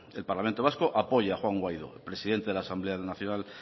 el parlamento vasco apoya a juan guaidó presidente de la asamblea nacional